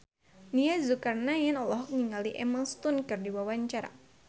Nia Zulkarnaen olohok ningali Emma Stone keur diwawancara